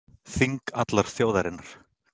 Þing allrar þjóðarinnar